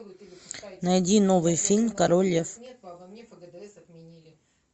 найди новый фильм король лев